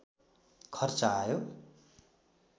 खर्च आयो